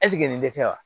nin dɛ wa